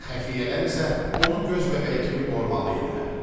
Xəfiyyələr isə onu göz bəbəyi kimi qorumalı idilər.